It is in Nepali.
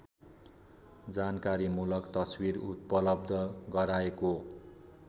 जानकारीमूलक तस्बिर उपलब्ध गराएको